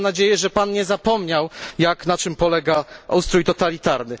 Mam nadzieję, że Pan nie zapomniał, na czym polega ustrój totalitarny.